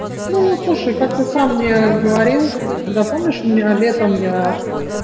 ну слушай как ты сам мне говорил когда помнишь у меня летом я